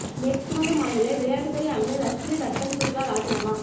மேற்கு வங்க மாநில விளையாட்டுத்துறை அமைச்சர் லட்சுமி ரத்தன் சுக்லா ராஜினாமா